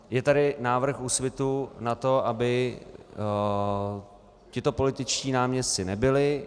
Je tady návrh Úsvitu na to, aby tito političtí náměstci nebyli.